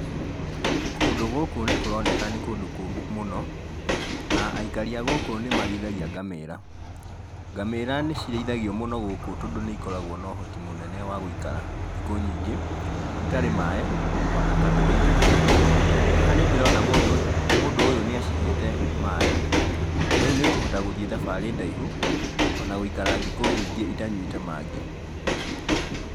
Kũndũ gũkũ nĩ kũroneka nĩ kũndũ kũũmũ mũno, na aikari a gũkũ nĩ marĩithagia ngamĩra, ngamĩra nĩ cirĩithagio mũno gũkũ tondũ nĩ ikoragwo na ũhoti mũnene wa gũikara thikũ nyingĩ itarĩ maĩ, ona kana irio, haha nĩ ndĩrona mũndũ ũyũ nĩ acihete maĩ, na rĩu nĩ ikũhota gũthiĩ thabarĩ ndaihu, ona gũikara thikũ nyingĩ itanyuĩte mangĩ.